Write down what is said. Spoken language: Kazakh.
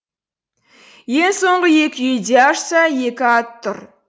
ең соңғы екі үйді ашса екі ат тұр